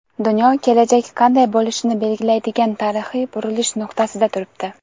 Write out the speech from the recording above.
Dunyo kelajak qanday bo‘lishini belgilaydigan tarixiy burilish nuqtasida turibdi.